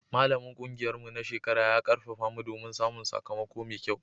Malamin ƙungiyarmu na shekara ya ƙarfafa mu don samun sakamako mai kyau.